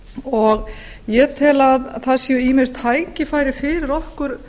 og ég tel að þar séu ýmis tækifæri fyrir okkur